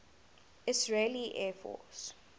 israeli air force